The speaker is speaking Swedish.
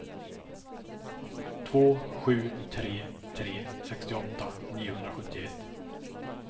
två sju tre tre sextioåtta niohundrasjuttioett